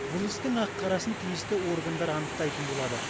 бұл істің ақ қарасын тиісті органдар анықтайтын болады